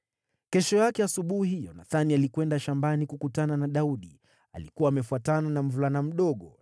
Kesho yake asubuhi Yonathani alikwenda shambani kukutana na Daudi. Alikuwa amefuatana na mvulana mdogo,